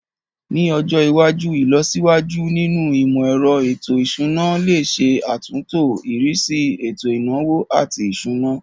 Ní ọjọ iwájú, ìlọsíwájú nínú imọ-ẹrọ ètò ìṣúná lè ṣe àtúntò ìrísí ètò ìnáwó àti ìṣúná.